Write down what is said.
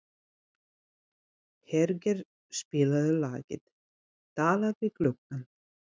Hergeir, spilaðu lagið „Talað við gluggann“.